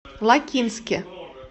лакинске